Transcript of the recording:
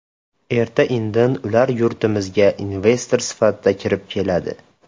Erta-indin ular yurtimizga investor sifatida kirib keladi.